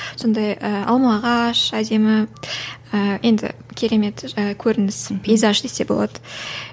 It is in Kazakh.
сондай ыыы алма ағаш әдемі ы енді керемет жаңағы көрініс пейзаж десе болады